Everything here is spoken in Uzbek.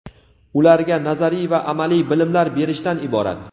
ularga nazariy va amaliy bilimlar berishdan iborat.